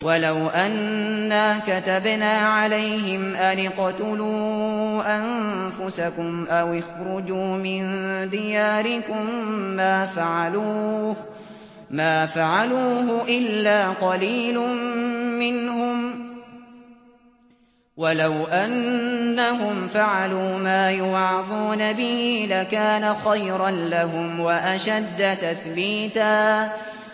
وَلَوْ أَنَّا كَتَبْنَا عَلَيْهِمْ أَنِ اقْتُلُوا أَنفُسَكُمْ أَوِ اخْرُجُوا مِن دِيَارِكُم مَّا فَعَلُوهُ إِلَّا قَلِيلٌ مِّنْهُمْ ۖ وَلَوْ أَنَّهُمْ فَعَلُوا مَا يُوعَظُونَ بِهِ لَكَانَ خَيْرًا لَّهُمْ وَأَشَدَّ تَثْبِيتًا